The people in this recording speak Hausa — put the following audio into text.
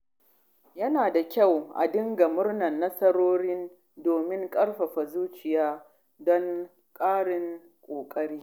Yana da kyau a dinga murnar nasarori domin ƙarfafa zuciya don ƙarin ƙoƙari.